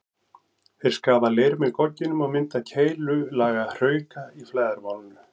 Þeir skafa leir með gogginum og mynda keilulaga hrauka í flæðarmálinu.